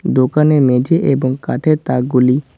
দোকানে মেঝে এবং কাঠের তাকগুলি--